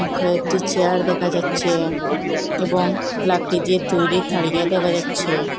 কয়েকটি চেয়ার দেখা যাচ্চে এবং লাকড়ি দিয়ে তৈরি থারিয়া দেখা যাচ্চে।